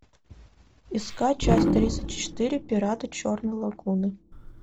искать часть тридцать четыре пираты черной лагуны